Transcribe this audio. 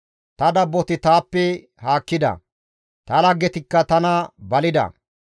Ta dabboti taappe haakkida; ta laggetikka tana balida.